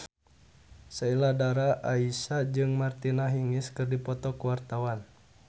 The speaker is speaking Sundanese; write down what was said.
Sheila Dara Aisha jeung Martina Hingis keur dipoto ku wartawan